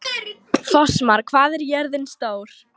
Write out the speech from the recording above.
Fossmar, hvað er jörðin stór?